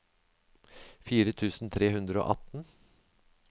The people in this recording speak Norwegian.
fire tusen tre hundre og atten